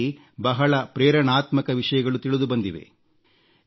ಅದರಲ್ಲಿ ಬಹಳ ಪ್ರೇರಣಾತ್ಮಕ ವಿಷಯಗಳು ತಿಳಿದುಬಂದಿವೆ